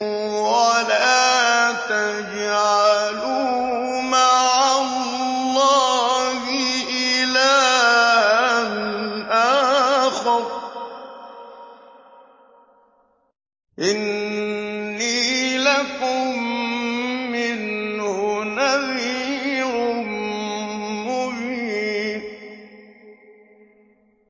وَلَا تَجْعَلُوا مَعَ اللَّهِ إِلَٰهًا آخَرَ ۖ إِنِّي لَكُم مِّنْهُ نَذِيرٌ مُّبِينٌ